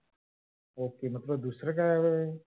ok म तुला दुसर काय हवय?